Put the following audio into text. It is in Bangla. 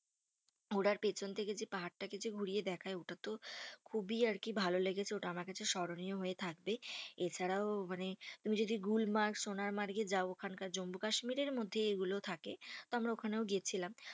ঘোড়ার পেছন থেকে যে পাহাড়টাকে যে ঘুরিয়ে দেখায় ওটা তো খুবই আর কি ভালো লেগেছে। ওটা আমার কাছে স্মরণীয় হয়েই থাকবে। এছাড়াও মানে তুমি যদি গুলমার্গ, সোনারমার্গ এও যাও ওখানকার জম্মু কাশ্মীরের মধ্যেই এগুলোও থাকে। তো আমরা ওখানে গেছিলাম।